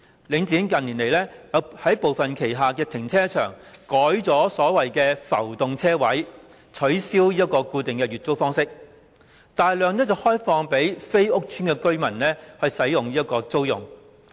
領展近年在旗下部分停車場改用所謂的浮動車位，取消固定月租的方式，把車位大量開放給非屋邨住戶租用。